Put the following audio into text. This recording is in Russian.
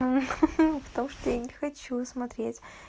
ха-ха потому что я не хочу смотреть